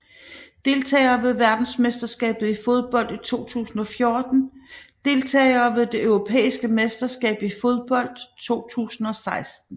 Deltagere ved verdensmesterskabet i fodbold 2014 Deltagere ved det europæiske mesterskab i fodbold 2016